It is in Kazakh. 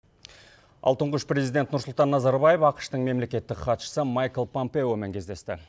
ал тұңғыш президент нұрсұлтан назарбаев ақш тың мемлекеттік хатшысы майкл пампеомен кездесті